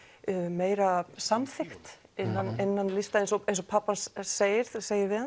meira samþykkt innan innan lista eins og eins og pabbi hans segir segir við